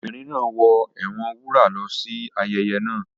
The children are playing with their mother's gele